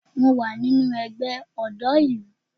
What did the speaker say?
Mo wà nínú ẹgbẹ́ ọ̀dọ́ ìlú